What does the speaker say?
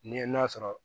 Ni ye n'a sɔrɔ